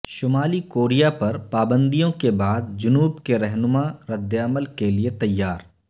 شمالی کوریا پر پابندیوں کے بعد جنوب کے رہنما ردعمل کے لیے تیار